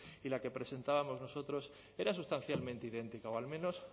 y la que presentábamos nosotros era sustancialmente idéntica o al menos